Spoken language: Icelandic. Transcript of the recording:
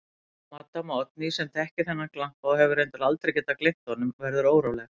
Maddama Oddný, sem þekkir þennan glampa og hefur reyndar aldrei getað gleymt honum, verður óróleg.